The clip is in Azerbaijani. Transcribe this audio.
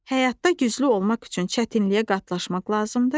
Həyatda güclü olmaq üçün çətinliyə qatlaşmaq lazımdır.